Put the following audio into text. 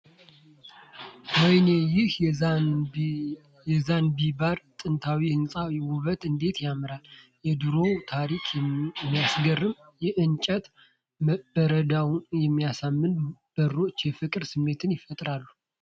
ወይኔ! ይህ የዛንዚባር ጥንታዊ ሕንጻ ውበቱ እንዴት ያማራል ! የድሮውን ታሪክ የሚናገረው የእንጨት በረንዳውና የሚያማምሩ በሮች የፍቅር ስሜት ይፈጥራሉ !